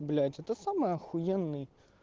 блять это самый ахуенный